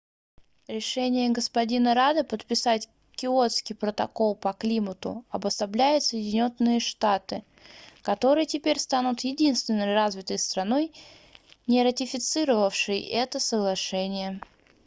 решение г-на радда подписать киотский протокол по климату обособляет соединённые штаты которые теперь станут единственной развитой страной не ратифицировавшей это соглашение